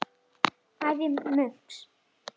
Einnig á Richard soninn Arthur.